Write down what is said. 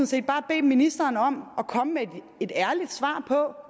set bare bedt ministeren om at komme med et ærligt svar på